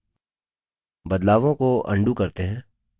बदलावों को अन्डू करते हैं